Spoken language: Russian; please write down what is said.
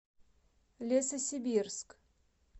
лесосибирск